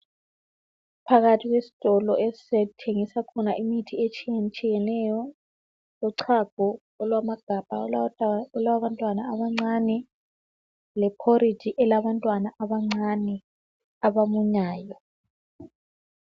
Phakathi kwesitolo esithengisa imithi etshiyetshiyeneyo uchago olwamagabha olwabantwana abancane lephoriji eyabantwana abancane abamunyayo.